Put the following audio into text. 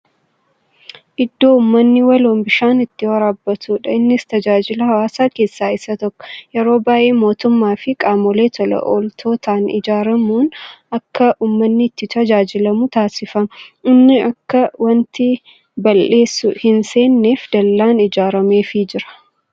Iddoo uummanni waloon bishaan itti waraabbatuudha. Innis Tajaajila hawaasummaa keessa isa tokko. Yeroo baay'ee mootummaafi qaamolee tola ooltotaan ijaaramuun akka uummanni itti tajaajilamu taasifama. Inni akka wanti bal'eessu itti hin seennef dallaan ijaarameefii jira.